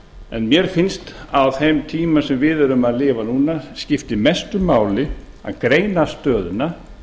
en mér finnst að á þeim tíma sem við erum að lifa núna skipti mestu máli að greina stöðuna